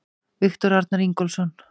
Viktor Arnar Ingólfsson